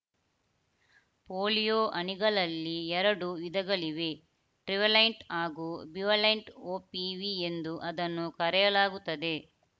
polio ಹನಿಗಳಲ್ಲಿ ಎರಡು ವಿಧಗಳಿವೆ ಟ್ರಿವಲೆಂಟ್‌ ಹಾಗೂ ಬಿವಲೆಂಟ್‌ ಒಪಿವಿ ಎಂದು ಅದನ್ನು ಕರೆಯಲಾಗುತ್ತದೆ